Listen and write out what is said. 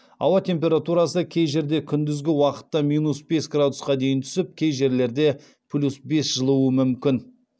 ауа температурасы кей жерде күндізгі уақытта минус бес градусқа дейін түсіп кей жерлерде плюс бес жылуы мүмкін